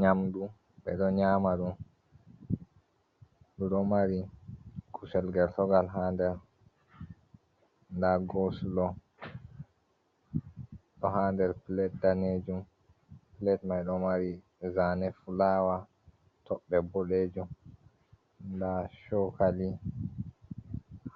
Nyamdu, ɓe ɗo nyamaɗum ɗo mari kusel gertogal ha nder , nda gosluo ɗo ha nder pilet danejuum, pilet mai ɗo mari zane fulawa toɓɓe boɗejuum, nda chokali